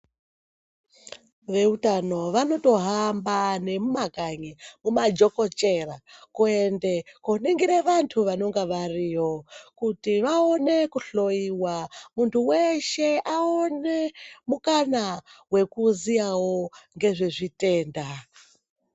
Veutano vanotohama nemumakanyi mumajokochera kuende koningire vantu vanenge variyo kuti vaone kuhloiwa muntu weshe aone mukana wekuziyawo ngezvezvitenda.